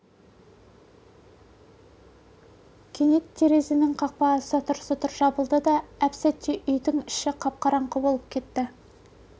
кенет терезенің қақпағы сатыр-сұтыр жабылды да әп-сәтте үйдің іші қап-қараңғы болып кетті